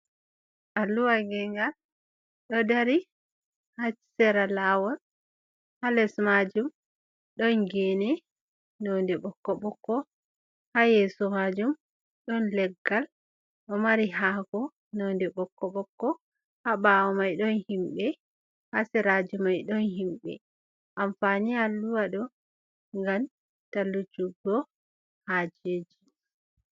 Alluha gengal ɗo dari hasera lawol, ha les majum ɗon gene nonde bokko bokko, ha yeso majum ɗon leggal ɗo mari hako nonde bokko bokko, ha ɓawo mai ɗon himɓe ha seraji mai don himɓe amfani Alluha ɗo ngam tallujuggo hajeji.